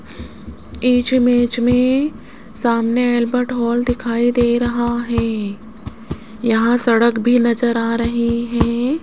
इस इमेज में सामने अल्बर्ट हॉल दिखाई दे रहा है यहां सड़क भी नजर आ रही हैं।